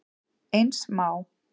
Eins má